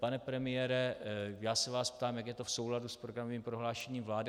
Pane premiére, já se vás ptám, jak je to v souladu s programovým prohlášením vlády.